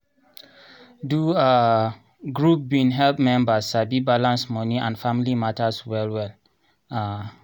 do um group bin help mebers sabi balance moni and family matters well well. um